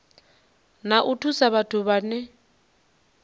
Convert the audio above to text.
na u thusa vhathu vhane